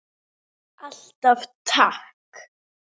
Alltaf takk.